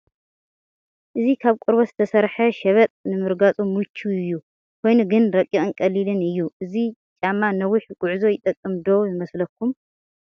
እዚ ካብ ቆርበት ዝተሰርሓ ሸበጥ ንምርጋፁ ምቹው እዩ፡፡ ኮይኑ ግን ረቂቕን ቀሊልን እዩ፡፡ እዚ ጫማ ንነዊሕ ጉዕዞ ይጠቅም ዶ ይመስለኩም?